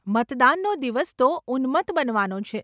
મતદાનનો દિવસ તો ઉન્મત્ત બનવાનો છે.